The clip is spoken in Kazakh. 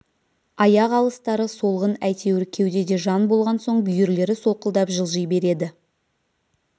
аяқ алыстары солғын әйтеуір кеудеде жан болған соң бүйірлері солқылдап жылжи береді